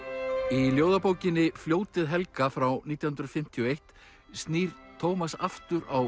í ljóðabókinni fljótið helga frá nítján hundruð fimmtíu og eitt snýr Tómas aftur á